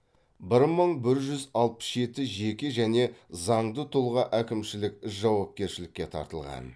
бір мың бір жүз алпыс жеті жеке және заңды тұлға әкімшілік жауапкершілікке тартылған